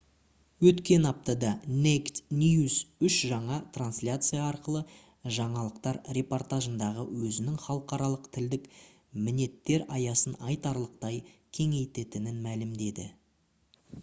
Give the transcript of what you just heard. өткен аптада naked news үш жаңа трансляция арқылы жаңалықтар репортажындағы өзінің халықаралық тілдік мінеттер аясын айтарлықтай кеңейтетінін мәлімдеді